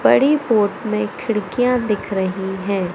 बड़ी पोर्ट में खिड़कियां दिख रही है।